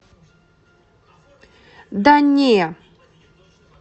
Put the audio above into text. да не